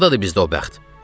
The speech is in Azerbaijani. Hardadır bizdə o bəxt?